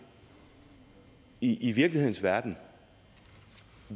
i i virkelighedens verden